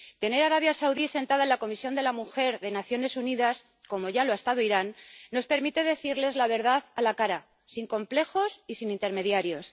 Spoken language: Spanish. Tener a Arabia Saudí sentada en la Comisión de la mujer de las Naciones Unidas, como ya lo ha estado Irán, nos permite decirle la verdad a la cara, sin complejos y sin intermediarios.